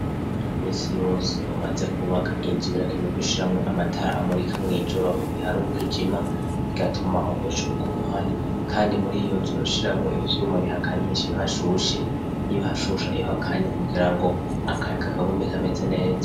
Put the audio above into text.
Imisi yose umaze kubaka inzu birakemeko ushiramwo amatara amurika mw'ijoro ugihari umwijima bigatuma umuco wumuhari, kandi muri iyo nzuro shiramwo ivyuma bihakanyisha bihashushe y'ibhashusha ihakanye kugira ngo akayaka akagume kameze neza.